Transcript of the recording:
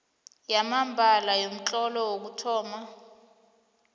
yamambala yomtlolo wokuthoma